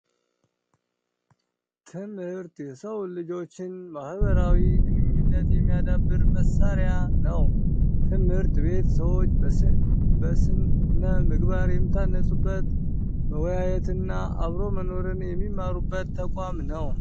ትምህርት የሰው ልጆችን ማህበራዊ ግንኙት የሚያዳብር መሳሪያ ነው። ትምህርት ቤት ሰዎች በስነ የሚታነፁበት ፣መወያየትን እና አብሮ መኖርን የሚማሩት ተቋም ነው።